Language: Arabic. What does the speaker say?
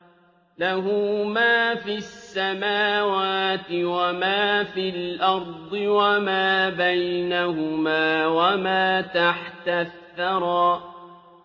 لَهُ مَا فِي السَّمَاوَاتِ وَمَا فِي الْأَرْضِ وَمَا بَيْنَهُمَا وَمَا تَحْتَ الثَّرَىٰ